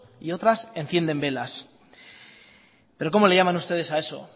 y otras encienden velas pero cómo le llaman ustedes a eso